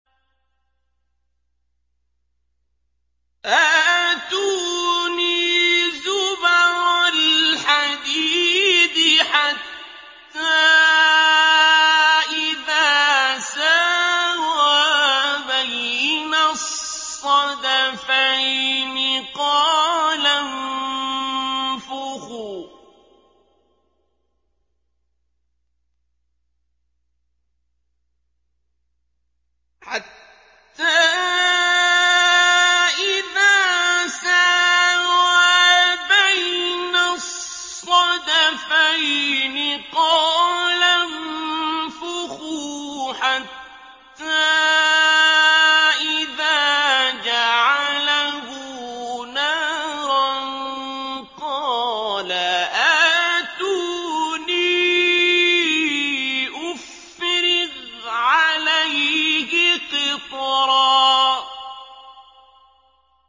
آتُونِي زُبَرَ الْحَدِيدِ ۖ حَتَّىٰ إِذَا سَاوَىٰ بَيْنَ الصَّدَفَيْنِ قَالَ انفُخُوا ۖ حَتَّىٰ إِذَا جَعَلَهُ نَارًا قَالَ آتُونِي أُفْرِغْ عَلَيْهِ قِطْرًا